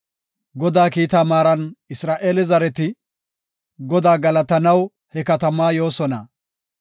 Godaa kiitaa maaran Isra7eele zareti, Godaa galatanaw he katamaa yoosona.